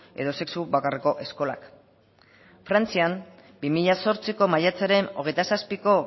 edo sexu bakarreko eskolak frantzian bi mila zortziko maiatzaren hogeita zazpiko